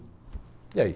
E aí?